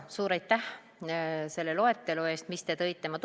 Suur aitäh selle loetelu eest, mis te tõite!